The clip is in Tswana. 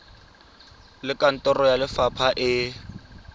le kantoro ya lefapha e